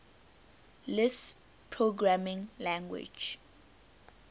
lisp programming language